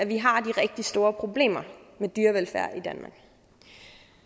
vi har de rigtig store problemer med dyrevelfærd